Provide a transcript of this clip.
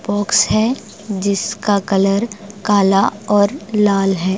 Box है जिसका colour काला और लाल है।